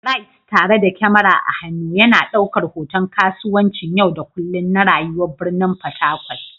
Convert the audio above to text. Bright, tare da kyamara a hannu, yana ɗaukar hoton kasuwancin yau da kullun na rayuwar birnin Fatakwal.